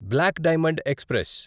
black diamond express